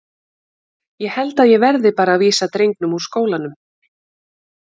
Ég held að ég verði bara að vísa drengnum úr skólanum.